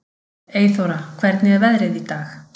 Eyþóra, hvernig er veðrið í dag?